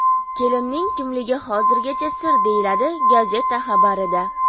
Kelinning kimligi hozircha sir”, deyiladi gazeta xabarida.